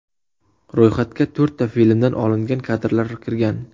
Ro‘yxatga to‘rtta filmdan olingan kadrlar kirgan.